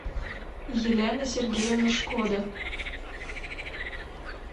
елена сергеевна шкода